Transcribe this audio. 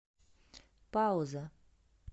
пауза